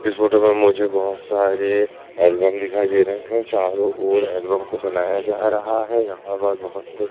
इस फोटो में मुझे बहुत सारे एल्बम दिखाइए दे रहे हैं चारों ओर एल्बम को बनाया जा रहा है यहां पर बहुत से--